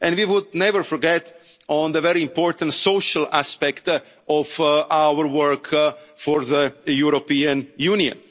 our scientists. And we would never forget the very important social aspect of our work for the